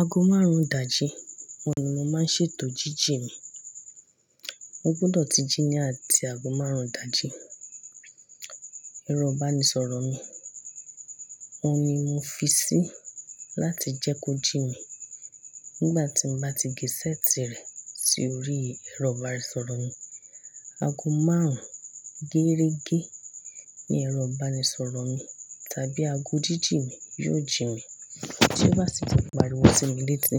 Aago márùn-ún ìdájí, òun ni mo máa ń ṣètò jíjìn mi. Mo gbọdọ̀ ti jí ní àti aago márùn-ún ìdájí. Ẹ̀rọ ìbánisọ̀rọ̀ mi, òun ni mo fi sí láti jẹ́ kó jí mi. Nígbà tí mo bá ti gé ṣẹ́ẹ̀tì rẹ̀ si orí ẹ̀rọ ìbánisọ̀rọ̀ mi, aago márùn-ún gẹ́rẹ́gẹ́ ní ẹ̀rọ ìbánisọ̀rọ̀ mi tàbí aago jíjìn mi yóò jí mi. Tí ó bá sì ti pariwo sí mi létí,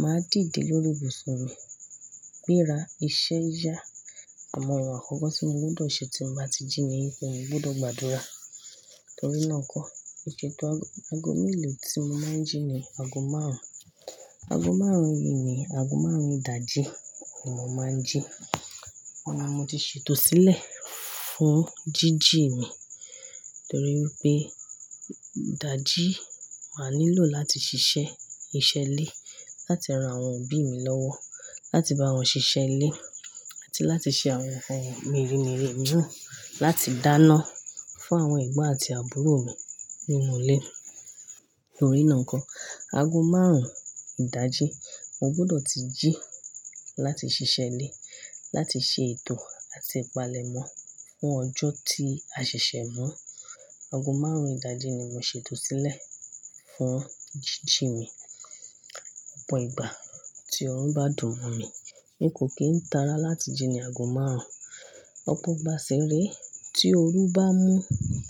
màá dìde lórí ibùsùn mi, gbéra, iṣẹ́ yá. Àmọ́ ohun àkọ́kọ́ tí mo gbọdọ̀ ṣe tí mo bá ti jí ni pe mo gbọdọ̀ gbàdúrà. Torí náà kọ́, ìṣètò aago mélòó tí mo máa ń jí ni aago márùn-ún. Aago márùn-ún yìí ni aago márùn-ún ìdájí ni mo máa ń jí. Òun ni mo ti ṣètò sílẹ̀ fún jíjìn mi. Nítorí pé ìdájí máa nílò láti ṣiṣẹ́, iṣẹ́ ilé, láti ran àwọn òbí mi lọ́wọ́, láti bá wọn ṣiṣẹ́ ilé àti láti ṣe àwọn ohun mèremère mìíràn, láti dáná fún àwọn ẹ̀gbọ́n àti àbúrò mi nínú ilé. Nítorí náà n kọ́, aago márùn-ún ìdájí mo gbọdọ̀ ti jí láti ṣiṣẹ́ ilé, láti ṣe ètò àti ìpalẹ̀mọ́ fún ọjọ́ tí a ṣẹ̀ṣẹ̀ mọ́. Aago márùn-ún ìdájí ni mo ṣètò sílẹ̀ fún jíjìn mi. Ọ̀pọ̀ ìgbà tí ọrùn bá dùn mọ́ mi, n kò kín tára láti jí ní aago márùn-ún. Ọ̀pọ̀ ìgbà sì re, tí òru bá mú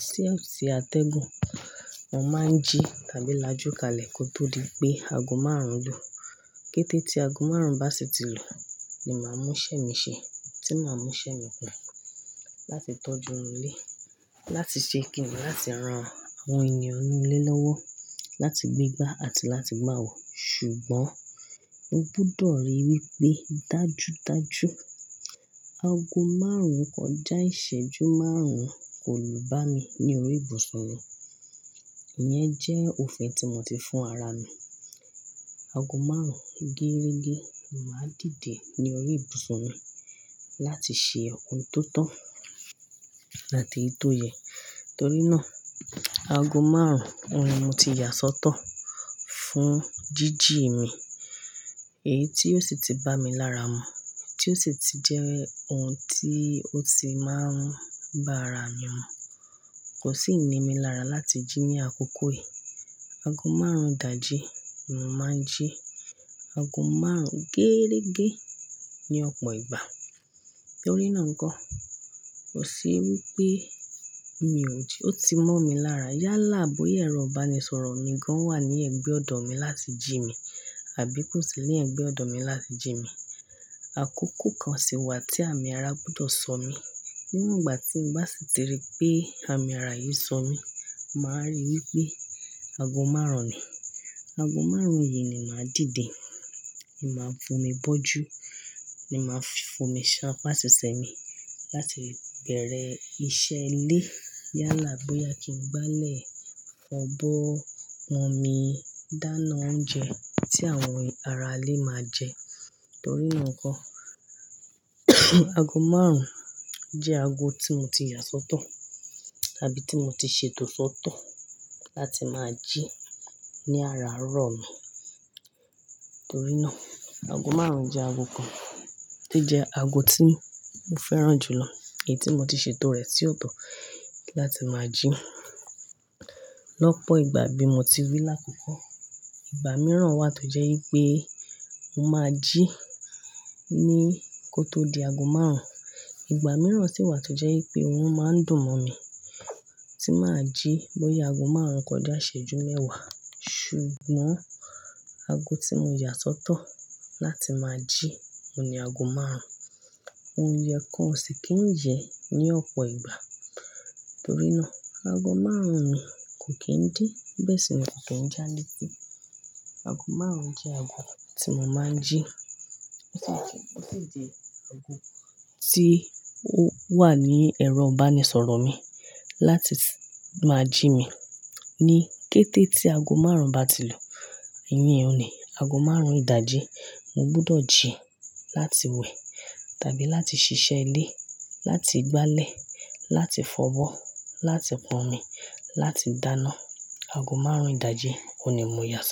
ti o sì àtẹ̀gùn, mo máa ń jí tàbí lajúkalẹ̀ kó tó di pé aago márùn-ún lù. Kététí aago márùn-ún bá sì ti lù ni màá mú ṣẹ́ mi ṣe, tí màá mú ṣẹ́ mi kùn láti tọ́jú ọ̀rọ̀ ilé, láti ṣe kìǹi, láti ran àwọn ènìyàn nínú ilé lọ́wọ́, láti gbégbá àti láti má wò. Ṣùgbọ́n mo gbọdọ̀ ríi wí pé dájúdájú aago márùn-ún kọjá ìṣẹ́jú márùn-ún kò lu bá mi ní orí ibùsùn mi. I yẹn jẹ́ òfin tí mo ti fún ara mi. Aago márùn-ún gẹ́rẹ́gẹ́ ni màá dìde ní orí ibùsùn mi láti ṣe ohun tó tọ́ àti èyí tó yẹ. Torí náà, aago márùn-ún òun ni mo ti yà sọ́tọ̀ fún jíjìn mi. Èyí tí ó sì ti bá mi lára mu, tí ó sì ti jẹ́ ohun tí ó ti máa ń bá ara mi mu. Kò sì ni mí lára láti jí ní àkókò yìí. Aago márùn-ún ìdájí ni mo màá ń jí. Aago márùn-ún gẹ́rẹ́gẹ́ ní ọ̀pọ̀ ìgbà. Nítorí náà n kọ́, kò sí wí pé mi ò jí. Ó ti mọ́ mi lára yálà bóyá ẹ̀rọ ìbánisọ̀rọ̀ mi gan wà ní ẹ̀gbẹ́ ọ̀dọ̀ mi láti jí mi àbí kò sí ní ẹ̀gbẹ́ ọ̀dọ̀ mi láti jí mi. Àkókò kan sì wà tí àmì ara gbọdọ̀ sọ mí. Níwon igbà tí mo bá sì ti rí pé àmì ara yìí sọ mí, màá ríi wí pé aago márùn-ún ni. Aago márùn-ún yìí ni màá dìde, ni màá fún mi bọ́jú, ni màá fún mi ṣán fún àṣìṣẹ́ mi, láti bẹ̀rẹ̀ iṣẹ́ ilé yálà bóyá kí n gbálẹ̀ fọ̀bọ́ pọ́n omi, dáná oúnjẹ tí àwọn ará ilé máa jẹ. Nítorí náà n kọ́, aago márùn-ún jẹ́ aago tí mo ti yà sọ́tọ̀ tàbí tí mo ti ṣètò sọ́tọ̀ láti máa jí ní ara rọ̀ mi. Nítorí náà, aago márùn-ún jẹ́ aago kan to jẹ́ aago tí mo fẹ́ràn jù lọ. Èyí tí mo ti ṣètò rẹ̀ tì ó dùn láti máa jí. Lọ́pọ̀ ìgbà bí mo ti wí lákòókò, ìgbà mìíràn wà tó jẹ́ wí pé mo máa ń jí ní kó tó di aago márùn-ún. Ìgbà mìíràn sì wà tó jẹ́ wí pé òrun máa ń dùn mọ́ mi tí màá jí bóyá aago márùn-ún kọjá ìṣẹ́jú mẹ́wàá. Ṣùgbọ́n aago tí mo yà sọ́tọ̀ láti máa jí òun ni aago márùn-ún. Òyẹ kan o sì kí ń yẹ ní ọ̀pọ̀ ìgbà. Nítorí náà, aago márùn-ún mi kò kín dí. Ìbẹ̀sẹ̀ mi kò tó ń jáde pé aago márùn-ún jẹ́ aago tí mo máa ń jí. Ó sì jẹ́ aago tí ó wà ní ẹ̀rọ ìbánisọ̀rọ̀ mi láti máa jí mi. Ní kététí aago márùn-ún bá ti lù, ìyẹn òun ni aago márùn-ún ìdájí mo gbọdọ̀ jí láti wẹ̀ tàbí láti ṣiṣẹ́ ilé, láti gbálẹ̀, láti fọ̀bọ́, láti pọn omi, láti dáná. Aago márùn-ún ìdájí òun ni mo yà sọ́